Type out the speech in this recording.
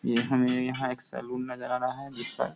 ये हमें यहाँ एक सैलून नजर आ रहा है जिसका --